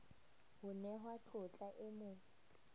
ho nehwa tlotla e mo